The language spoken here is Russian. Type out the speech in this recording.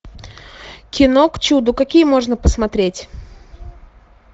кино к чуду какие можно посмотреть